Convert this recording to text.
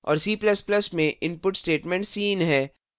और c ++ में input स्टेटमेंटcin है